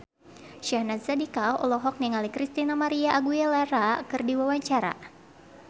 Syahnaz Sadiqah olohok ningali Christina María Aguilera keur diwawancara